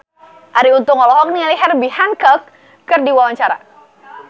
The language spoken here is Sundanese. Arie Untung olohok ningali Herbie Hancock keur diwawancara